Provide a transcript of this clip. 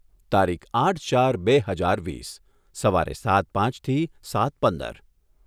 તારીખ આઠ ચાર બે હજાર વીસ. સવારે સાત પાંચથી સાત પંદર